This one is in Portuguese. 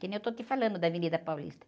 Que nem eu estou te falando da Avenida Paulista.